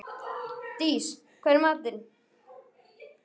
Dís, hvað er í matinn?